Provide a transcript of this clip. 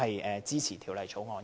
我支持《條例草案》。